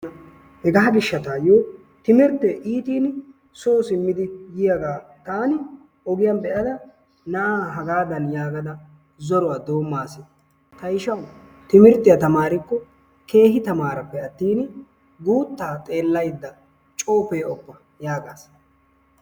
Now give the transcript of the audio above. Hegaa gishshatayo timirtte iitin soo simmidi diyaga taani ogiyan be'ada na'aa hagaadan yaagada zoruwa doommas. Ta ishawu timirttiya tamarikko keehi tamaarappe attin guutta xeelaydda coo pe'oppa yaagaas.